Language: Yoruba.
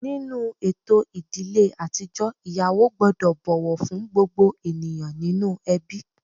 Nínú ètò ìdílé àtijọ́, ìyàwó gbọ́dọ̀ bọ̀wọ̀ fún gbogbo ènìyàn inú ẹbí